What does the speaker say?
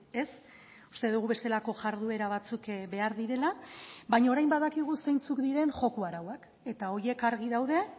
ez uste dugu bestelako jarduera batzuk behar direla baina orain badakigu zeintzuk diren joko arauak eta horiek argi daude